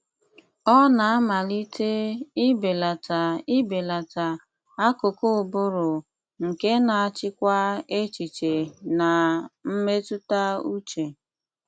Ọ na-amalite ibelata ibelata akụkụ ụbụrụ nke na-achịkwa echiche na mmetụta uche.